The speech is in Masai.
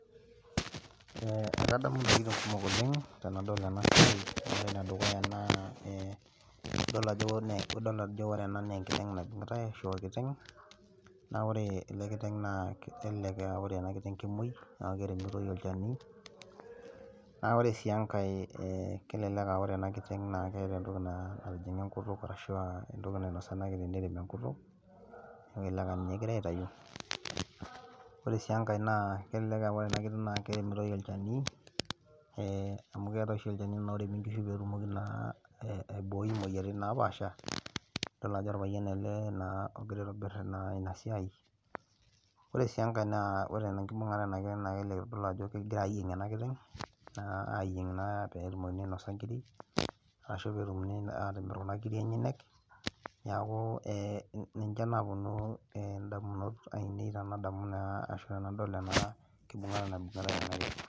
Ee adamu tenadol ena siai, ore ene dukuya naa idol ajo ore ena naa enkiteng' naibungitae ashu orkiteng,. Naa ore ele kiteng nelelek aa ore ena kiteng kemuoi naa keremitoi olchani. naa ore sii enkae, naa ore ena kiteng keeta entoki natijinga enkutuk ashu ee entoki, nainosa ena kiteng neremi enkutuk. Neeku elelek aa ninye egirae aitayu. ore sii enkae, kelelek aa ore ena kiteng naa keremitoi olchani ee amu keetae ashu olchani oremitoi nkishu, naa keremi naa peetumoki naa aibooi imoyiaritin napaasha idol ajo olpayian ele ogira aitobir, ena Ina siai. Ore sii enkae, naa ore enkibungata ena kiteng naa kelelek itodolu ajo kegirae ayieeng ena kiteng, aayieng naa peetumokini ainosa nkiri, ashu peetumokini atimir Kuna kiti enyenyek. Neeku, ninche naapuonu damunot ainei tenadamu naa ashu tenadol ena kibungata naibungitai ena kiteng.